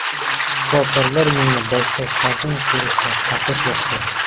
Shifokorlar menga boshqa farzand ko‘rishni taqiqlashgan.